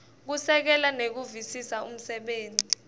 kusekela nekuvisisa umsebenti